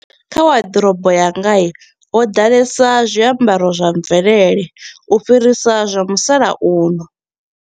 Kha wardrobe yanga ya ho ḓalesa zwiambaro zwa mvelele u fhirisa zwa musalauno.